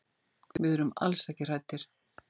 Við erum alls ekki hræddir.